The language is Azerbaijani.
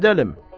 Gedəlim.